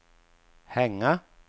hänga